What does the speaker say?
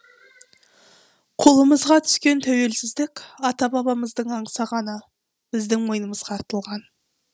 қолымызға түскен тәуелсіздік ата бабамыздың аңсағаны біздің мойнымызға артылған